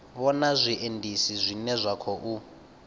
vhona zwiendisi zwine zwa khou